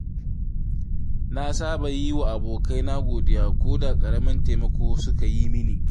Na saba yi wa abokaina godiya ko da ƙaramin taimako suka yi min.